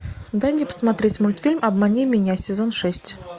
дай мне посмотреть мультфильм обмани меня сезон шесть